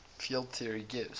field theory gives